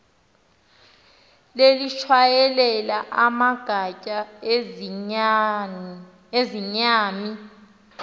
lelitshayelela amagatya azizayami